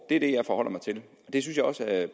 er det jeg forholder mig til og det synes jeg også at